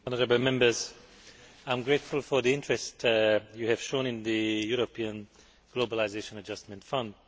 I am grateful for the interest you have shown in the European Globalisation Adjustment Fund.